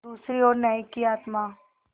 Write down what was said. दूसरी ओर न्याय की आत्मा